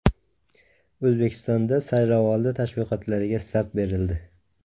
O‘zbekistonda saylovoldi tashviqotlariga start berildi.